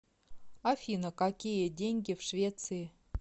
афина какие деньги в швеции